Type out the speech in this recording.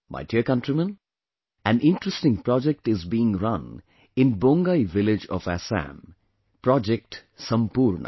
My dear countrymen, an interesting project is being run in Bongai village of Assam Project Sampoorna